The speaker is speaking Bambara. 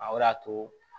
A o de y'a to